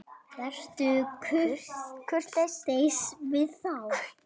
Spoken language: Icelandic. Vertu kurteis við þá!